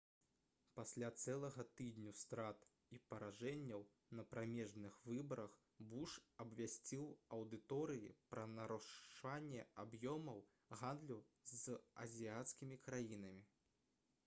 пасля цэлага тыдню страт і паражэнняў на прамежных выбарах буш абвясціў аўдыторыі пра нарошчванне аб'ёмаў гандлю з азіяцкімі краінамі